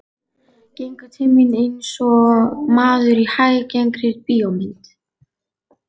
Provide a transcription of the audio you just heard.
Gengur til mín einsog maður í hæggengri bíómynd.